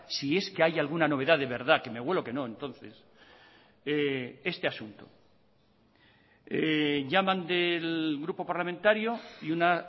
si es que hay alguna novedad de verdad que me huelo que no entonces este asunto llaman del grupo parlamentario y una